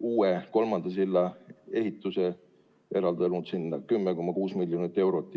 uue, kolmanda silla ehituse ning eraldanud selleks 10,6 miljonit eurot.